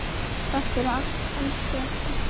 Takk fyrir allt, elsku Edda.